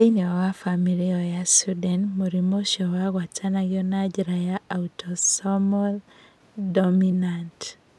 Thĩinĩ wa bamĩrĩ ĩyo ya Sweden, mũrimũ ũcio wagwatanagio na njĩra ya autosomal dominant.